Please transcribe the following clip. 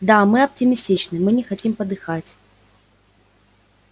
да мы оптимистичны мы не хотим подыхать